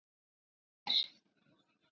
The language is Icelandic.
ÞÚ HÉR?